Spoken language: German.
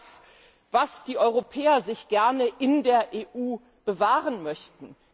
Das ist das, was die Europäer sich gerne in der EU bewahren möchten.